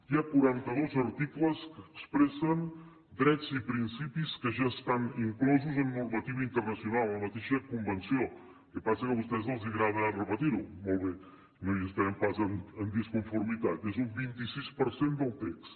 hi ha quaranta dos articles que expressen drets i principis que ja estan inclosos en normativa internacional en la mateixa convenció el que passa que a vostès els agrada repetir ho molt bé no hi estarem pas en disconformitat és un vint sis per cent del text